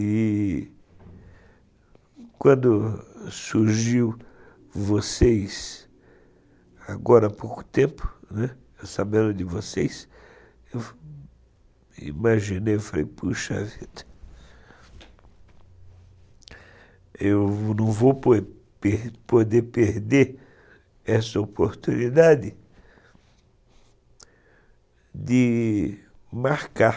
E quando surgiu vocês, agora há pouco tempo, eu sabendo de vocês, eu imaginei e falei, puxa vida, eu não vou poder perder essa oportunidade de marcar